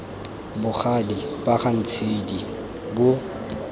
bogadi ba ga ntshidi bo